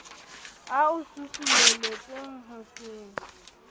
a o susumeletsang ho se